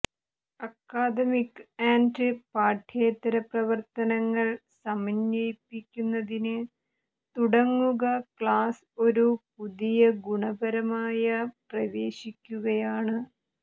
academic and പാഠ്യേതര പ്രവർത്തനങ്ങൾ സമന്വയിപ്പിക്കുന്നതിന് തുടങ്ങുക ക്ലാസ് ഒരു പുതിയ ഗുണപരമായ പ്രവേശിക്കുകയാണ്